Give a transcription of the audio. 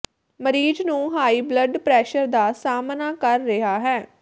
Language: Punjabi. ਮਰੀਜ਼ ਨੂੰ ਹਾਈ ਬਲੱਡ ਪ੍ਰੈਸ਼ਰ ਦਾ ਸਾਹਮਣਾ ਕਰ ਰਿਹਾ ਹੈ